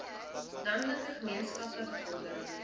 landelike gemeenskappe bevordering